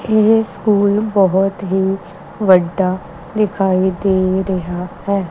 ਇਹ ਸਕੂਲ ਬਹੁਤ ਹੀ ਵੱਡਾ ਦਿਖਾਈ ਦੇ ਰਿਹਾ ਹੈ।